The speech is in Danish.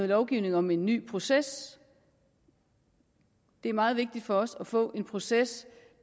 lovgivning om en ny proces det er meget vigtigt for os at få en proces